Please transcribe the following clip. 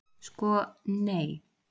Sko, nei.